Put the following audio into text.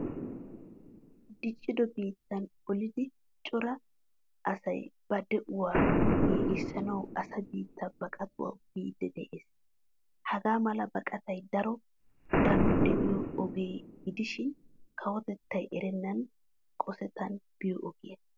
Diccido biitta olidi cora asay ba de'uwua giigisanawu asa biitta baqattawu biidi de'ees. Hagaamala baqqattay daro danoy de'iyo oge gidishin kawotettay erenan qosettan biyo ogiya.